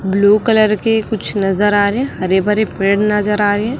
Blue colour के कुछ नजर आ रहे हैं हरे भरे पेड़ नजर आ रहे हैं।